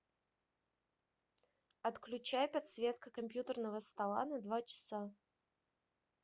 отключай подсветка компьютерного стола на два часа